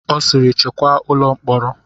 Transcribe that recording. Ọ sịịrị chekwaa ụlọ mkpọrọ!